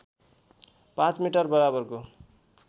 ५ metre बराबरको